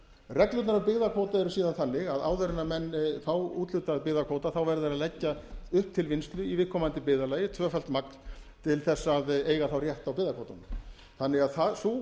reglurnar um byggðakvóta eru góðan þannig að áður en menn fá úthlutaðan byggðakvóta verða þeir að leggja upp til vinnslu í viðkomandi byggðarlaga tvöfalt magn til þess að eiga þá rétt á byggðakvótanum þannig að sú